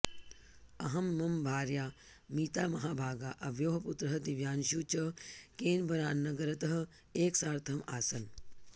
अहं मम भार्या मीतामहाभागा अवयोः पुत्रः दिव्यांशुः च केन्बरानगरतः एकसार्थम् आसन्